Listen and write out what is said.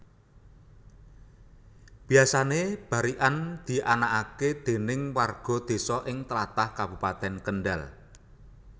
Biyasané barikan dianakake déning warga désa ing tlatah Kabupatèn Kendal